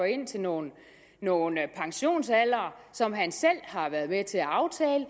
ind til nogle pensionsaldre som han selv har været med til at aftale